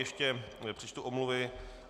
Ještě přečtu omluvy.